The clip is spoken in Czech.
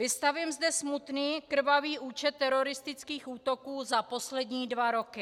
Vystavím zde smutný krvavý účet teroristických útoků za poslední dva roky.